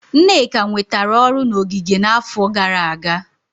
Nneka nwetara ọrụ na ogige n'afọ gara aga.